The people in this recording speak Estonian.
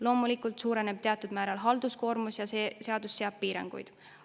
Loomulikult suureneb teatud määral halduskoormus ja see seadus seab piiranguid.